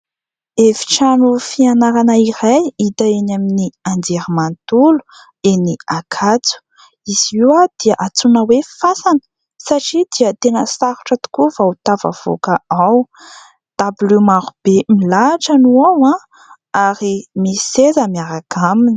Efitrano fianarana iray hita eny amin'ny anjery manontolo eny ankatso. Izy io dia antsoina hoe fasana satria dia tena sarotra tokoa vao tafavoaka ao, dabilio maro be milahatra no ao ary misy seza miaraka aminy.